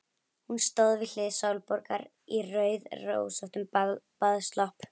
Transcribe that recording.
Hún stóð við hlið Sólborgar í rauðrósóttum baðslopp.